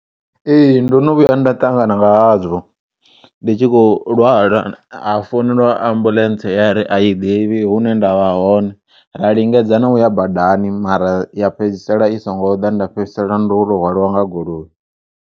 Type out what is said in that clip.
Ee, ndono vhuya nda ṱangana nga hazwo ndi tshi kho u lwala ha founeliwa ambulentsi yari ayi ḓivhi hune ndavha hone ra lingedza na uya badani mara ya fhedzisela i so ngo ḓa nda fhedzisela ndoto hwaliwa nga goloi.